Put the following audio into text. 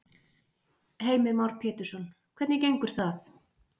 Heimir Már Pétursson: Hvernig gengur það?